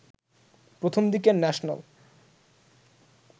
প্রথমদিকের national